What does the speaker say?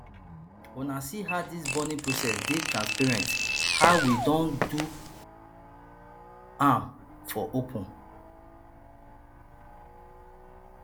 una see how dis burning process dey transparent how we don do am for open